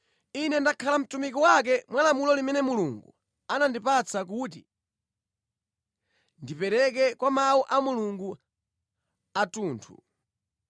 Ine ndakhala mtumiki wake mwa lamulo limene Mulungu anandipatsa kuti ndipereke Mawu a Mulungu athunthu,